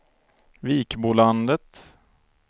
Vikbolandet